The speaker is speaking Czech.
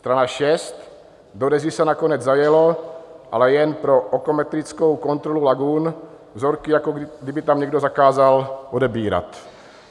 Strana 6 - do Dezy se nakonec zajelo, ale jen pro okometrickou kontrolu lagun, vzorky jako kdyby tam někdo zakázal odebírat.